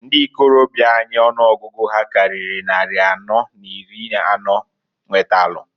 Ndi ikorobia anyị ọnụọgụgụ ha karịrị nnari anọ n'iri anọọ nwetalụ.